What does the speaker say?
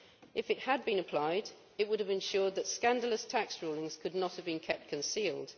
If it had been applied, it would have ensured that scandalous tax rulings' could not have been kept concealed.